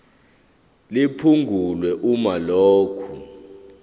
liphungulwe uma lokhu